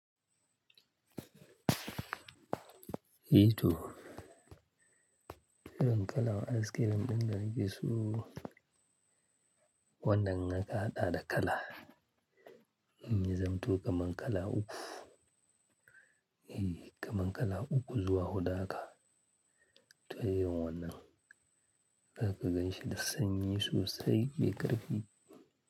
I to, irin kala'n askirim ɗin da na fi so wannan naka haɗa da kala. Ni zan tuƙa man kala uku, kamar kala uku zuwa huɗu haka. To yawan wannan, za ka ganshi da sanyi sosai mai ƙarfi.